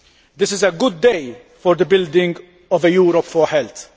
This is a good day for the building of a Europe for health'.